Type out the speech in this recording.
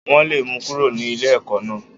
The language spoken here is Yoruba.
Wọ́n lé mi kúrò ní ilé ẹ̀kọ́ náà.